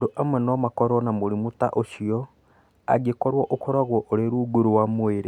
Andũ amwe no makorũo na mũrimũ ta ũcio angĩkorũo ũkoragwo ũrĩ rungu rwa mwĩrĩ.